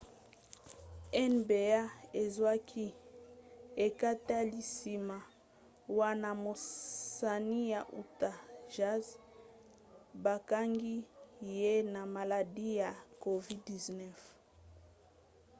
nba ezwaki ekateli nsima wana mosani ya utah jazz bakangaki ye na maladi ya covid-19